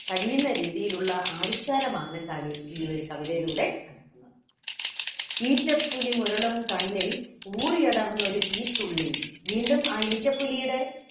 കഴിയുന്ന രീതിയിലുള്ള ആവിഷ്കാരമാണ് കവി ഈ ഒരു കവിതയിലൂടെ കാണിക്കുന്നത്. ഈറ്റപ്പുലി മുരളും കണ്ണിൽ ഊറിയടർന്നൊരു തീത്തുള്ളി വീണ്ടും ആ ഈറ്റപ്പുലിയുടെ